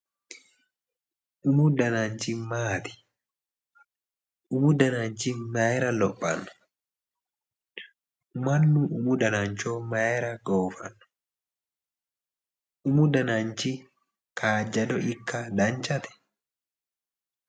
Umu dananchi maati? Umu dananchi mayira lophanno? Mannu umu danancho mayira goofanno? Umu dananchi kaajjado ikka danchate?